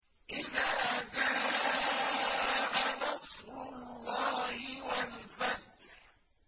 إِذَا جَاءَ نَصْرُ اللَّهِ وَالْفَتْحُ